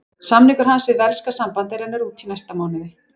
Samningur hans við velska sambandið rennur út í næsta mánuði.